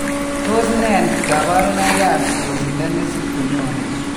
Tos nee kabarunaik ab yosindo nesip konyone